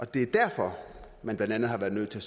det er derfor man blandt andet har været nødt til